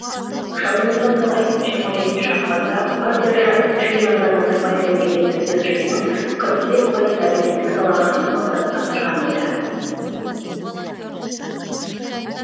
жадыңызға салайын жиырма жетінші ақпанда партия жиынында назарбаев мемлекеттік бюджетінің қырық бес пайызын әлеуметтік салаға жұмсауды тапсырған еді